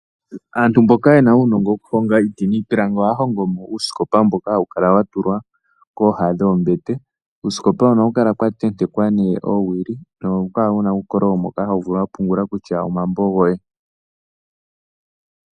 Aantu mboka yena uunogo woku honga iiti niipilangi oha hongo mo uusikopa mboka hawu kala wa tulwa kooha dhoombete. Kuusikopa hoka ohaku kala kwa tentekwa oowili no hawu kala wuna uukololo mboka ho vulu oku pungula kutya omambo goye.